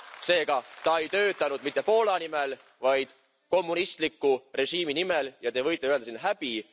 Seega ta ei töötanud mitte Poola, vaid kommunistliku režiimi nimel, ja te võite öelda siin Häbi!,